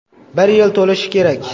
Bir yil to‘lishi kerak.